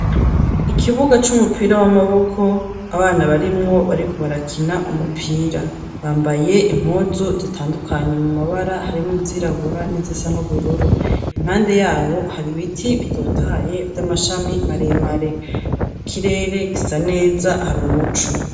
Ikibuga c'umupira w'amaboko, abana barimwo bariko barakina umupira; bambaye impuzu zitandukanye mu mabara, harimwo izirabura n'izisa n'ubururu; impande yabo hari ibiti bitotahaye vy'amashami maremare ikirere gisa neza hari umuco.